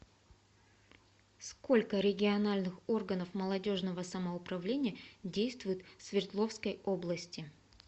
сколько региональных органов молодежного самоуправления действует в свердловской области